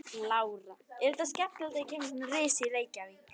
Lára: Er þetta skemmtilegt þegar kemur svona risi í Reykjavík?